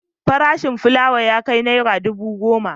Farashin fulawa ya kai naira dubu goma.